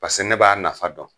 Paseke ne b'a nafa dɔn.